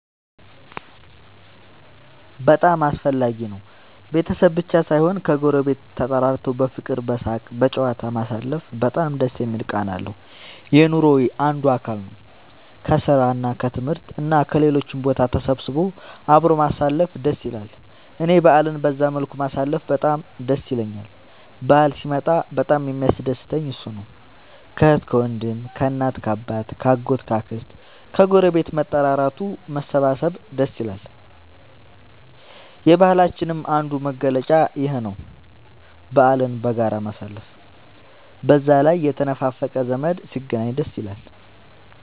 በጣም አስፈላጊ ነው ቤተሰብ ብቻ ሳይሆን ከ ጎረቤት ተጠራርቶ በፍቅር በሳቅ በጨዋታ ማሳለፉ በጣም ደስ የሚል ቃና አለው። የኑሮ አንዱ አካል ነው። ከስራ እና ከትምህርት እና ከሌሎችም ቦታ ተሰብስቦ አብሮ ማሳለፍ ደስ ይላል እኔ በአልን በዛ መልኩ ማሳለፍ በጣም ደስ ይለኛል በአል ሲመጣ በጣም የሚያስደስተኝ እሱ ነው። ከአህት ከወንድም ከእናት ከአባት ከ አጎት ከ አክስት ከግረቤት መጠራራቱ መሰባሰብ ደስ ይላል። የባህላችንም አንዱ መገለጫ ይኽ ነው በአልን በጋራ ማሳለፍ። በዛ ላይ የተነፋፈቀ ዘመድ ሲገናኝ ደስ ይላል